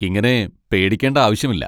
ഇങ്ങനെ പേടിക്കേണ്ട ആവശ്യമില്ല!